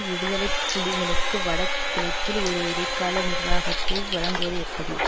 விடுதலை புலிகளுக்கு வடக்கிழக்கில் ஒரு இடைக்கால நிர்வாகத்தை வழங்குவது எப்படி